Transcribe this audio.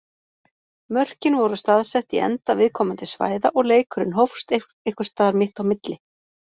Mörkin voru staðsett í enda viðkomandi svæða og leikurinn hófst einhvers staðar mitt á milli.